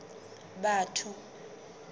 batho